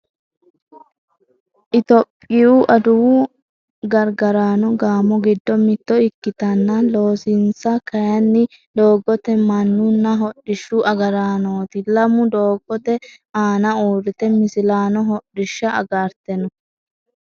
Itiyophiyu adawu gargaraano gaamo giddo mitto ikkitanna loosinsa kaaynni doogotemannunna hodhishshu agaraanooti. Lamu doogote aana uurrite millissanno hodhishsha agarte no.